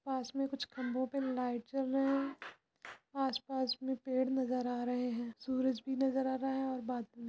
पास में कुछ खंबे पे लाइट जल रहें है आस-पास में पेड़ नज़र आ रहें है सूरज भी नज़र आ रहा है और --